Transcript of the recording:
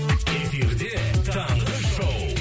эфирде таңғы шоу